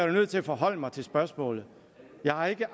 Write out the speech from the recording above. da nødt til at forholde mig til spørgsmålet jeg har ikke